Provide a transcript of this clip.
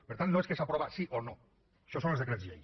per tant no és que s’aprova sí o no això són els decrets llei